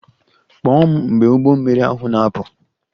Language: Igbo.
Kpọọ m mgbe ụgbọ mmiri ahụ na-apụ!